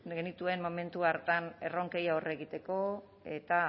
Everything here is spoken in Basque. genituen momentu hartan erronkei aurre egiteko eta